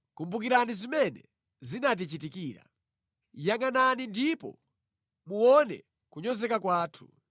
Inu Yehova, kumbukirani zimene zinatichitikira; yangʼanani ndipo muone kunyozeka kwathu.